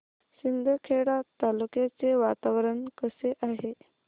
शिंदखेडा तालुक्याचे वातावरण कसे आहे